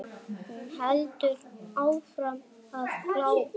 Hún heldur áfram að glápa.